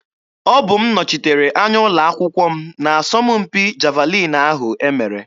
Ọbụ m nọchitere anya ụlọ akwụkwọ m n'asọmpi javalin ahụ e mere.